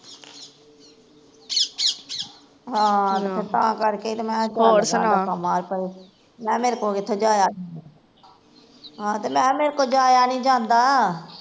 ਹਾਂ ਤੇ ਫੇਰ ਤਾਂ ਕਰਕੇ ਈ ਤੇ ਮੈਂ ਕਿਹਾ ਧੱਕਾ ਮਾਰ ਪਰੇ ਮੈਂ ਕਿਹਾ ਮੇਰੇ ਕੋਲੋਂ ਕਿੱਥੇ ਜਾਇਆ ਜਾਂਦਾ ਆਹ ਤੇ ਮੈਂ ਕਿਹਾ ਮੇਰੇ ਕੋਲੋਂ ਜਾਇਆ ਨੀ ਜਾਂਦਾ